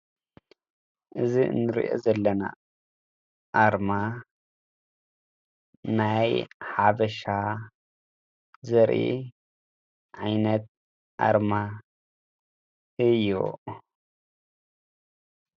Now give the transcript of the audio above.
እዚ ንሪኦ ዘለና ኣርማ ናይ ሓበሻ ዘርኢ ዓይነት ኣርማ እዩ።